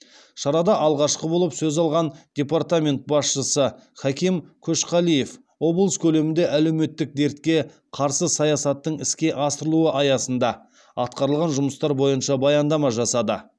шарада алғашқы болып сөз алған департамент басшысы хаким көшқалиев облыс көлемінде әлеуметтік дертке қарсы саясаттың іске асырылуы аясында атқарылған жұмыстар бойынша баяндама жасады